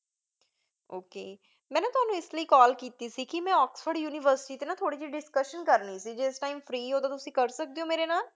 ok ਮੈਂ ਨਾ ਤੁਹਾਨੂੰ ਇਸ ਲਈ call ਕੀਤੀ ਸੀ, ਕਿ ਮੈਂ ਆਕਸਫੋਰਡ ਯੂਨੀਵਰਸਿਟੀ 'ਤੇ ਥੌੜ੍ਹੀ ਜਿਹੀ discussion ਕਰਨੀ ਸੀ, ਜੇ ਇਸ time free ਹੋ ਤਾਂ ਤੁਸੀਂ ਕਰ ਸਕਦੇ ਹੋ ਮੇਰੇ ਨਾਲ,